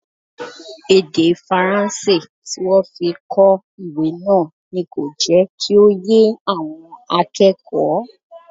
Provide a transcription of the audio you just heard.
Èdè Faransé tí wọ́n fi kọ ìwé náà ni kò jẹ́ kí ó yé àwọn akẹ́kọ̀ọ́